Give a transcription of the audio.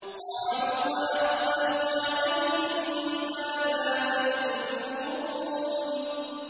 قَالُوا وَأَقْبَلُوا عَلَيْهِم مَّاذَا تَفْقِدُونَ